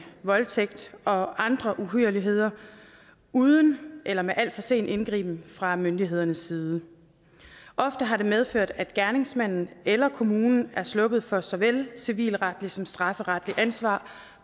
voldtægt og andre uhyrligheder uden eller med al for sen indgriben fra myndighedernes side ofte har det medført at gerningsmanden eller kommunen er sluppet for såvel civilretligt som strafferetligt ansvar